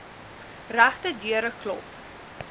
regte deure klop